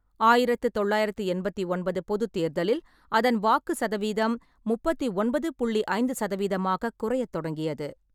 ஆயிரத்து தொள்ளாயிரத்து எண்பத்து ஒன்பது பொதுத் தேர்தலில் அதன் வாக்கு சதவீதம் முப்பத்தி ஒன்பது புள்ளி ஐந்து சதவீதமாகக் குறையத் தொடங்கியது.